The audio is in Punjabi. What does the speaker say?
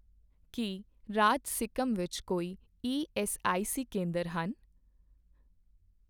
ਕੀ ਰਾਜ ਸਿੱਕਮ ਵਿੱਚ ਕੋਈ ਈਐੱਸਆਈਸੀ ਕੇਂਦਰ ਹਨ ?